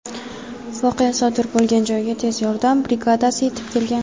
Voqea sodir bo‘lgan joyga tez yordam brigadasi yetib kelgan.